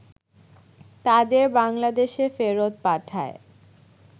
তাদের বাংলাদেশে ফেরত পাঠায়